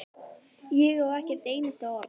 Ég á ekkert einasta orð.